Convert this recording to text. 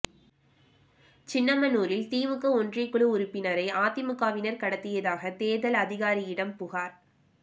சின்னமனூரில் திமுக ஒன்றியக்குழு உறுப்பினரை அதிமுகவினா் கடத்தியதாக தோ்தல் அதிகாரியிடம் புகாா்